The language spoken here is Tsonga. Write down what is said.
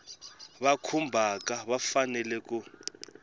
va khumbhaka va fanele ku